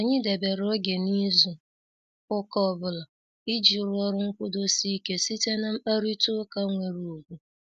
Anyị debere oge n'izu ụka ọbụla, iji rụọ ọrụ nkwudosi ike site na mkparita ụka nwere ugwu.